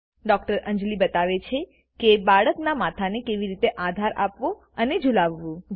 ડો અંજલી બતાવે છે કે બાળકના માથા ને કેવી રીતે આધાર આપવો અને ઝુલાવવું